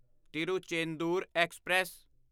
Tiruchendur express